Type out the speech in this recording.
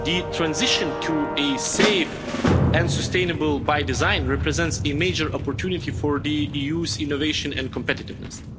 The transition to safe and sustainable by design' represents a major opportunity for the EU's innovation and competitiveness.